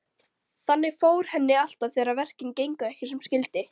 Þannig fór henni alltaf þegar verkin gengu ekki sem skyldi.